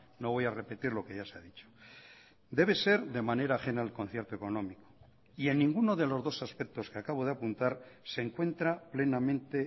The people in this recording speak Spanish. no voy a repetir lo que ya se ha dicho debe ser de manera ajena al concierto económico y en ninguno de los dos aspectos que acabo de apuntar se encuentra plenamente